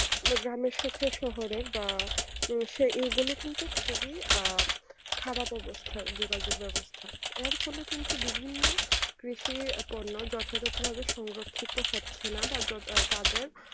যে গ্রাম এর সাথে শহরের বা সে এগুলো কিন্তু খুবই আহ খারাপ অবস্থা যোগাযোগে বেবস্তা এর ফলে কিন্তু এর ফলে বিভিন্ন যথাযথের ভাবে সংরক্ষহিতঃ হচ্ছে না বা যে তাদের